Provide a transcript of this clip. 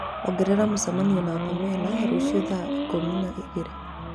ongerera mũcemanio na Pamela rũciũ thaa ikũmi na igĩrĩ